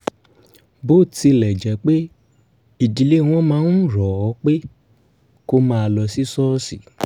bó tilẹ̀ jẹ́ pé ìdílé wọn máa ń rọ̀ ọ́ pé kó máa lọ sí ṣọ́ọ̀ṣì